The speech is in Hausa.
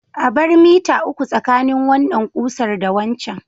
A bar mita uku tsakanin wannan ƙusar da waccan.